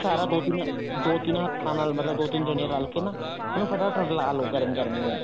ਸਾਰਾ ਦੋ ਤਿੰਨ ਹੱਥਾਂ ਨਾਲ ਮਤਲਬ ਦੋ ਤਿੰਨ ਰਲ ਕੇ ਨਾ ਮਤਲਬ ਫਟਾ ਫਟ ਰਲਾ ਲੋ ਗਰਮ ਗਰਮ ਨੂੰ